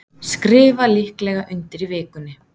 Skrifa líklega undir í vikunni